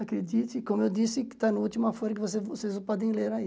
Acredite, como eu disse, que está na última folha que vocês que vocês podem ler aí.